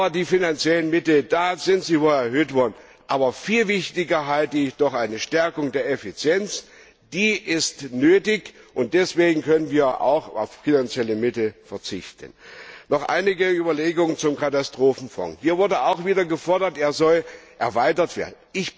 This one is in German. Die finanziellen Mittel sind zwar erhöht worden, aber für viel wichtiger halte ich die Stärkung der Effizienz. Die ist nötig, und deswegen können wir auch auf finanzielle Mittel verzichten. Noch einige Überlegungen zum Katastrophenfonds Hier wurde auch wieder gefordert, er solle erweitert werden.